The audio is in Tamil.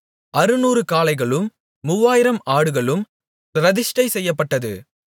அறுநூறு காளைகளும் மூவாயிரம் ஆடுகளும் பிரதிஷ்டை செய்யப்பட்டது